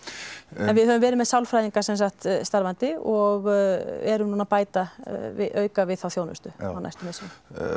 en við höfum verið með sálfræðinga starfandi og erum núna að auka við þá þjónustu á næstu misserum